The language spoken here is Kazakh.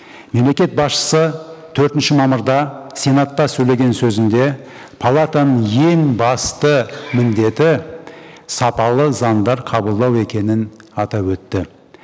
мемлекет басшысы төртінші мамырда сенатта сөйлеген сөзінде палатаның ең басты міндеті сапалы заңдар қабылдау екенін атап өтті